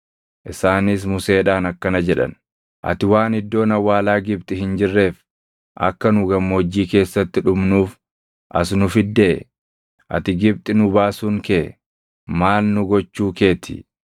Isaanis Museedhaan akkana jedhan; “Ati waan iddoon awwaalaa Gibxi hin jirreef akka nu gammoojjii keessatti dhumnuuf as nu fiddee? Ati Gibxi nu baasuun kee maal nu gochuu kee ti?